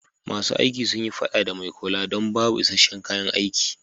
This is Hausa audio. Ma su aiki sun yi fada a mai kula don babu iska'shen kayan aiki.